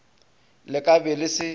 le ka be le se